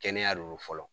Kɛnɛya de lo fɔlɔ